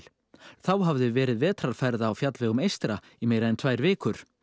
þá hafði verið vetrarfærð á fjallvegum eystra í meira en tvær vikur